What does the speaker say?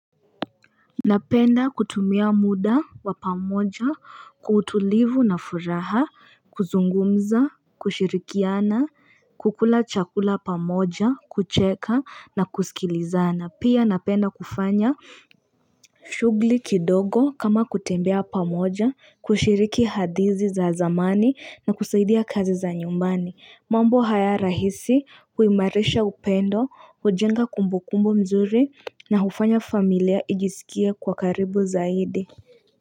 Napenda kutumia muda wa pamoja kwa utulivu na furaha kuzungumza, kushirikiana, kukula chakula pamoja, kucheka na kusikilizana. Pia napenda kufanya shughuli kidogo kama kutembea pamoja, kushiriki hadithi za zamani na kusaidia kazi za nyumbani. Mambo haya rahisi huimarisha upendo, hujenga kumbukumbu mzuri na hufanya familia ijiskie kwa karibu zaidi.